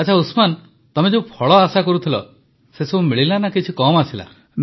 ଆଚ୍ଛା ଉସମାନ କହ ଯେ ତମେ ଯେଉଁ ଫଳ ଆଶା କରୁଥିଲ ତାହା ମିଳିଲା ନା କିଛି କମ୍ ଆସିଲା